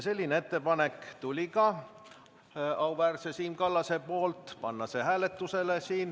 " Sellise ettepaneku tegi ka auväärne Siim Kallas.